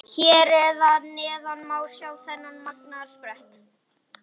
Hér að neðan má sjá þennan magnaða sprett.